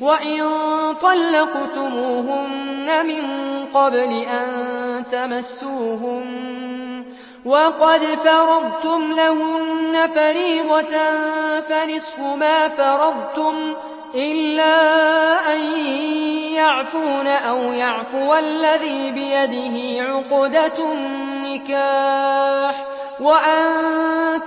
وَإِن طَلَّقْتُمُوهُنَّ مِن قَبْلِ أَن تَمَسُّوهُنَّ وَقَدْ فَرَضْتُمْ لَهُنَّ فَرِيضَةً فَنِصْفُ مَا فَرَضْتُمْ إِلَّا أَن يَعْفُونَ أَوْ يَعْفُوَ الَّذِي بِيَدِهِ عُقْدَةُ النِّكَاحِ ۚ وَأَن